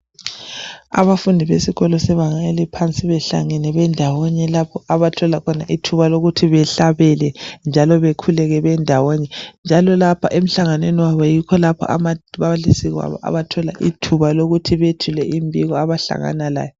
Abafundi besikolo sebanga eliphansi behlangane bendawonye lapho bathola khona ithuba lokuthi behlabele njalo bekhuleke bendawonye njalo lapha emhlanganweni wabo yikho lapho ababalisi abathola ithuba lokuthi bethule imbiko abahlangana layo.